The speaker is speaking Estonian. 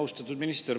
Austatud minister!